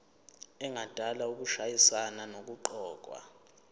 engadala ukushayisana nokuqokwa